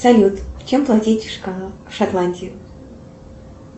салют чем платить в шотландии